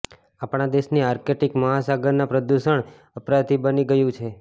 આપણા દેશની આર્કટિક મહાસાગરના પ્રદૂષણ અપરાધી બની ગયું છે